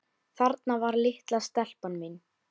Þarna var litla stelpan mín.